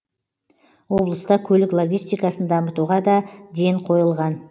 облыста көлік логистикасын дамытуға да ден қойылған